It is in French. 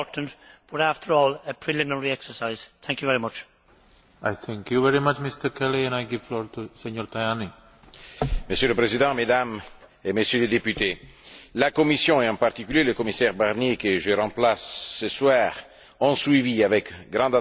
Monsieur le Président, Mesdames et Messieurs les députés, la Commission, et en particulier le commissaire Barnier que je remplace ce soir, ont suivi avec une grande attention la préparation du rapport d'initiative du Parlement sur l'évolution de la passation des marchés publics et la discussion sur les amendements.